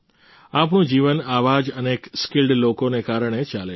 આપણું જીવન આવા જ અનેક સ્કિલ્ડ લોકોને કારણે ચાલે છે